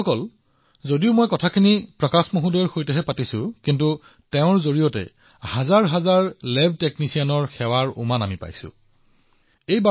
বন্ধুসকল এক প্ৰকাৰে মই ভাই প্ৰকাশজীৰ সৈতে কথা পাতিছো কিন্তু হাজাৰ হাজাৰ লেব টেকনিচিয়ানৰ সেৱা আগবঢ়োৱাৰ সুবাস আমাৰ ওচৰলৈ আহিছে